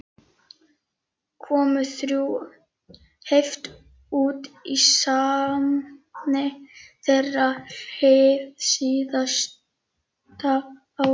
Komu þrjú hefti út í safni þeirra, hið síðasta árið